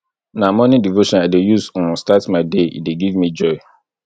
na morning devotion i dey use um start my day e dey give me joy